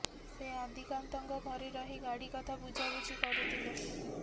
ସେ ଆଦିକାନ୍ତଙ୍କ ଘରେ ରହି ଗାଡି କଥା ବୁଝାବୁଝି କରୁଥିଲେ